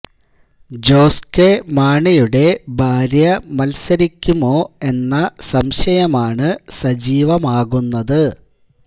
ജോസ് കെ മാണിയുടെ ഭാര്യ മത്സരിക്കുമോ എന്ന സംശയമാണ് സജീവമാകുന്നത്